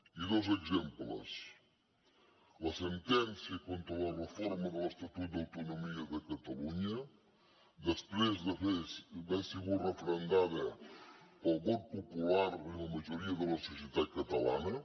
i dos exemples la sentència contra la reforma de l’estatut d’autonomia de catalunya després d’haver sigut referendada pel vot popular i la majoria de la societat catalana